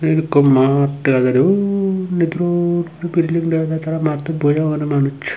field ikko maad dega jaide undi dub dub bilding dege tara mattot boji agonde manuj.